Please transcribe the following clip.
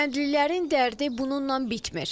Kəndlilərin dərdi bununla bitmir.